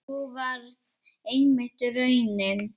Sú varð einmitt raunin.